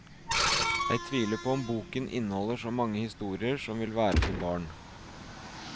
Jeg tviler på om boken inneholder så mange historier som vil være for barn.